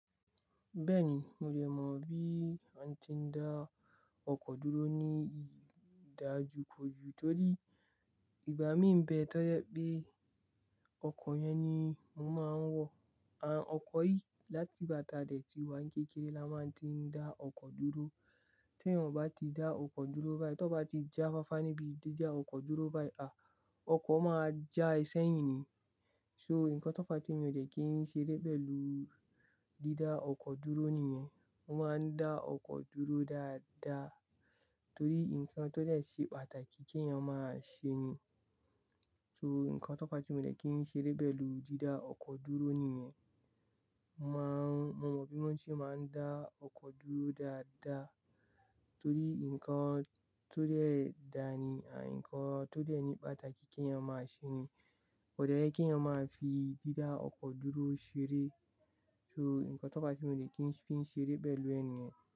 Bẹ́ẹ̀ni, mo dẹ̀ mọ bí a ti ń dá ọkọ̀ dúró ní ìdájú kò jù, torí ìgbà mi ń bẹ tó je pé ọkọ̀ yẹn ni mo máa ń wọ̀. Àn, ọkọ̀ yìí láti gbà tà dẹ̀ ti wà kékeré la máa ń tí ń dá ọkọ̀ dúró. Tẹ́ eyan bá ti dá ọkọ̀ dúró báyìí, tió bá ti já fáfá níbi dídá ọkọ̀ dúró báyìí, à, ọkọ̀ máa já ẹ sẹ́yìn ni. So, nǹkan tó fá ti mi òdẹ kí n ṣeré pelu dídá ọkọ̀ dúró nìyẹn. Mo máa ń dá ọkọ̀ dúró dáadáa torí nǹkan tó dẹ̀ ṣe pàtàkì kí èèyàn máa ṣe ni. So, nǹkan tó bá ti mi òdẹ kí n ṣe dé ibẹ̀ lu dídá ọkọ̀ dúró nìyẹn. Mo máa ń, mo mọ bí wọ́n ṣe máa ń dá ọkọ̀ dúró dáadáa torí nǹkan tó dẹ̀ dáa ni, à, nǹkan tó dẹ̀ ní pàtàkì kí èèyàn máa ṣe ni. Ko de ye kí èèyàn máa fi dídá ọkọ̀ dúró ṣeré. So, nǹkan tó fá ti mi òdẹ kí n fi ṣeré bẹ̀ lú ẹni ni.